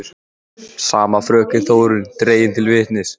Sama fröken Þórunn dregin til vitnis.